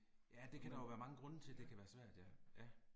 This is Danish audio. Ja det kan der jo være mange grunde til det kan være svært ja, ja